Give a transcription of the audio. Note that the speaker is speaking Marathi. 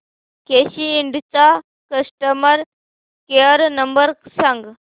केसी इंड चा कस्टमर केअर नंबर सांग